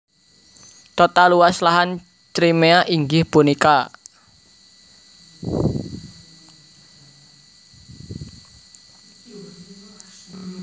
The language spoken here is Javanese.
Total luas lahan Crimea inggih punika